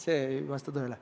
See ei vasta tõele.